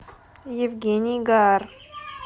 евгений гар